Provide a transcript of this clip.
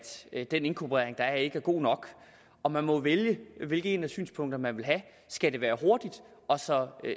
den inkorporering der er sket ikke er god nok og man må jo vælge hvilket af synspunkterne man vil have skal det være hurtigt og så